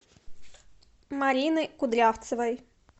марины кудрявцевой